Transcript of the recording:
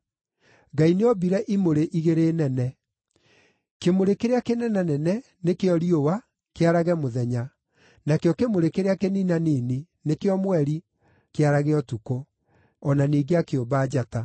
Ngai nĩombire imũrĩ igĩrĩ nene. Kĩmũrĩ kĩrĩa kĩnenanene, nĩkĩo riũa, kĩarage mũthenya; nakĩo kĩmũrĩ kĩrĩa kĩninanini, nĩkĩo mweri, kĩarage ũtukũ. O na ningĩ akĩũmba njata.